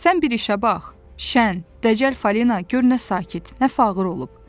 Sən bir işə bax, şən, dəcəl Falina gör nə sakit, nə fağır olub.